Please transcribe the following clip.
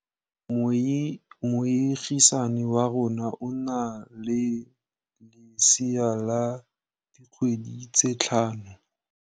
Moagisane wa rona o na le lesea la dikgwedi tse tlhano.